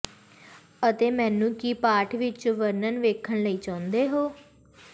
ਅਤੇ ਮੈਨੂੰ ਕੀ ਪਾਠ ਵਿੱਚ ਵਰਣਨ ਵੇਖਣ ਲਈ ਚਾਹੁੰਦੇ ਹੋ